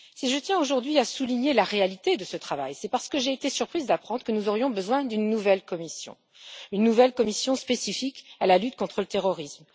Si je tiens, aujourd'hui, à souligner la réalité de ce travail, c'est parce que j'ai été surprise d'apprendre que nous aurions besoin d'une nouvelle commission spécifique à la lutte contre le terrorisme.